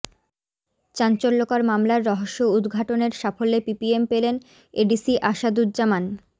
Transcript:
চাঞ্চল্যকর মামলার রহস্য উদঘাটনের সাফল্যে পিপিএম পেলেন এডিসি আসাদুজ্জামান